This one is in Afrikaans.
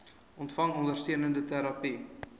ontvang ondersteunende terapie